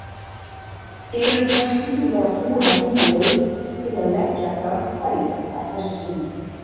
Telur Gústi sig vera búinn að finna leið til að leggja Garðbæinga að þessu sinni?